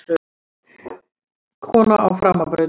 Kona á framabraut.